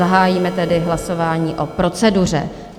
Zahájíme tedy hlasování o proceduře.